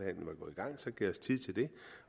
gav os tid til det